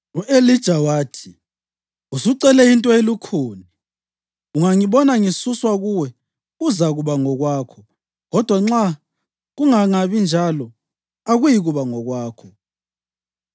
U-Elija wathi, “Usucele into elukhuni, ungangibona ngisuswa kuwe kuzakuba ngokwakho, kodwa nxa kungangabinjalo akuyikuba ngokwakho.”